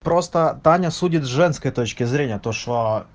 просто таня судит с женской точки зрения то что